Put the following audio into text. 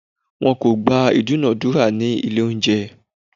Wọn kò gba ìdúnadúrà ní ilé oúnjẹ.